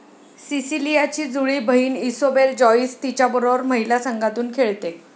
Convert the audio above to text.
सिसिलियाची जुळी बहीण Isobel Joyce तिच्याबरोबर महिला संघातून खेळते